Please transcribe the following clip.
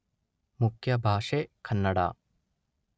ಮುಖ್ಯ ಭಾಷೆ ಕನ್ನಡ.